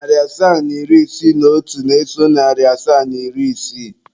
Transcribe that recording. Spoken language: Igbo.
Narị asaa na iri isii na otu na-eso narị asaa na iri isii.